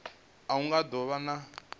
a hu nga do vha